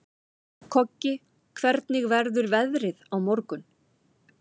Koggi, hvernig verður veðrið á morgun?